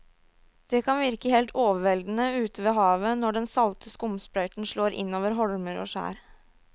Det kan virke helt overveldende ute ved havet når den salte skumsprøyten slår innover holmer og skjær.